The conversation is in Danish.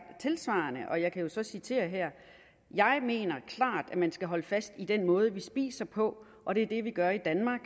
tilsvarende og jeg kan jo så citere her jeg mener klart at man skal holde fast i den måde vi spiser på og det er det vi gør i danmark